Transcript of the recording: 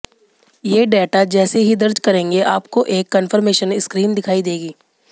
ये डेटा जैसे ही दर्ज करेंगे आपको एक कंफर्मेशन स्क्रीन दिखाई देगी